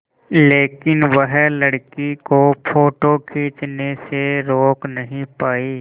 लेकिन वह लड़की को फ़ोटो खींचने से रोक नहीं पाई